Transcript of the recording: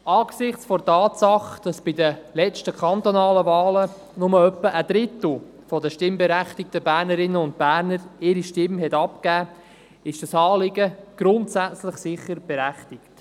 Angesichts der Tatsache, dass bei den letzten kantonalen Wahlen nur etwa ein Drittel der stimmberechtigten Bernerinnen und Berner die Stimme abgab, ist dieses Anliegen grundsätzlich berechtigt.